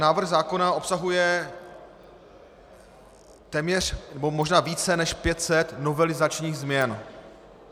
Návrh zákona obsahuje téměř nebo možná více než 500 novelizačních změn.